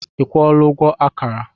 Ị kwụola ụgwọ akara?